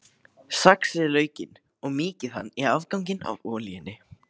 Saxið laukinn og mýkið hann í afganginum af olíunni.